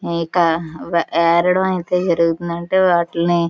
ఇక్కడ యరడం అయితే జరుగుతుంది. అంటే విటిలోని --